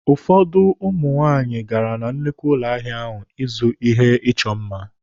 Ụfọdụ ụmụ nwaanyị gara na nnukwu ụlọ ahịa ahụ ịzụ ihe ịchọ mma.